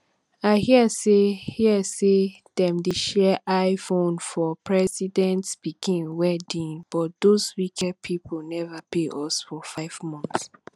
i hear say hear say dem share iphone for president pikin wedding but doz wicked people never pay us for five months